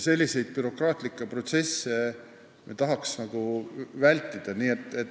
Selliseid bürokraatlikke protsesse me tahaks vältida.